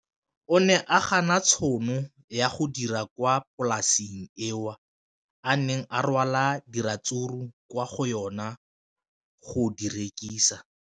O ne a gana tšhono ya go dira kwa polaseng eo a neng rwala diratsuru kwa go yona go di rekisa.